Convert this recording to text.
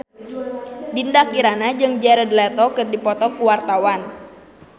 Dinda Kirana jeung Jared Leto keur dipoto ku wartawan